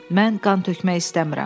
Mən qan tökmək istəmirəm.